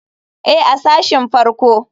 Ee, a sashin farko.